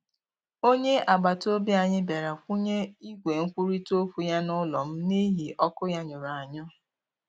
Onye agbataobi anyị bịara kwụnye igwe nkwurita okwu ya n'ụlọ m n'ihi ọkụ ya nyụnahụrụ ya.